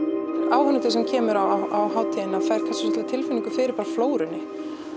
áhorfandi sem kemur á hátíðina fær bara tilfinningu fyrir flórunni